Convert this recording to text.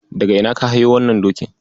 Daga ina ka hayo wannan dokin?